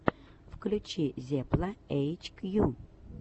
включи зепла эйчкью